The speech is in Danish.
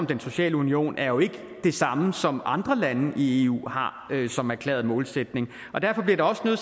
den sociale union er jo ikke det samme som andre lande i eu har som erklæret målsætning og derfor bliver der også nødt